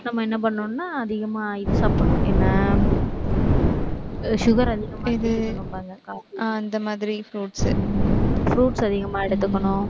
நம்ம என்ன பண்ணணும்ன்னா அதிகமா இது சாப்பிடணும் என்ன sugar அதிகமா அந்த மாதிரி fruits, fruits அதிகமா எடுத்துக்கணும்